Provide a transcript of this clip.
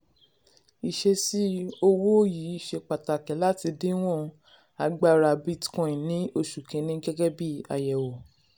ìṣesí owó yìí ṣe pàtàkì láti díwọ̀n agbára bitcoin ní oṣù kìíní gẹ́gẹ́ bí àyẹ̀wò.